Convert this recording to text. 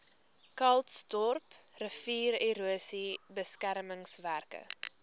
calitzdorp riviererosie beskermingswerke